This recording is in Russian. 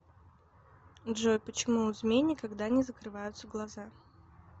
джой почему у змей никогда не закрываются глаза